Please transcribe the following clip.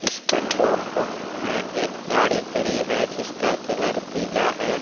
Petrol pump में एक गाड़ी खड़ी है जिसका कलर पीला है।